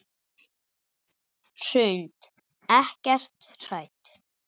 Hrund: Ekkert hrædd?